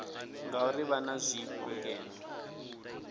ngauri vha na zwifho ngeno